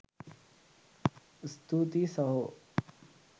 ස්තුති සහෝ